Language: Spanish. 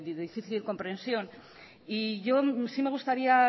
difícil comprensión y yo sí me gustaría